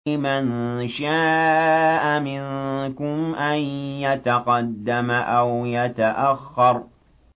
لِمَن شَاءَ مِنكُمْ أَن يَتَقَدَّمَ أَوْ يَتَأَخَّرَ